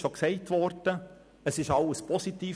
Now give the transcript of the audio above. Bis zum jetzigen Zeitpunkt ist alles positiv.